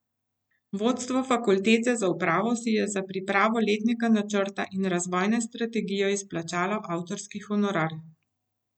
Vodstvo fakultete za upravo si je za pripravo letnega načrta in razvojne strategije izplačalo avtorski honorar.